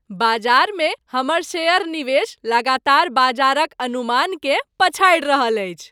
बाजारमे हमर शेयर निवेश लगातार बाजार क अनुमान के पछाडि रहल अछि।